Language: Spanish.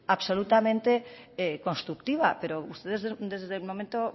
absolutamente constructiva pero ustedes desde el momento